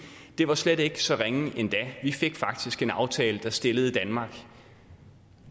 det var slet ikke så ringe endda vi fik faktisk en aftale der stillede danmark